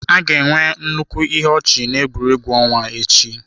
A ga-enwe nnukwu ihe ọchị na egwuregwu ọnwa echi.